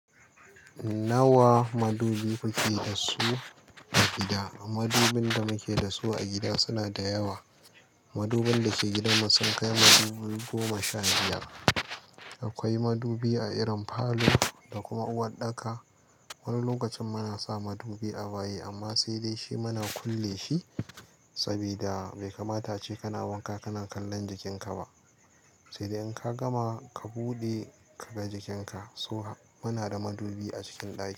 Nawa madubi muke da su a gida? Madubin da muke da su a gida suna da yawa. Madubin da ke gidanmu sun kai madubin goma sha shida. Akwai madubi a irin falo da kuma uwarɗaka. Wani lokacin muna sa madubi a bayi, amma sai dai shi muna kulle shi, sabida bai kamata ce kana wanka kana kallon jikinka ba, sai dai in ka gama ka buɗe kaga jikinka. So, muna da madubi a cikin ɗaki.